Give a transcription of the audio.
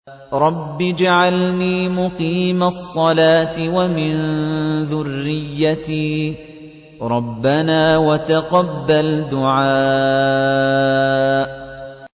رَبِّ اجْعَلْنِي مُقِيمَ الصَّلَاةِ وَمِن ذُرِّيَّتِي ۚ رَبَّنَا وَتَقَبَّلْ دُعَاءِ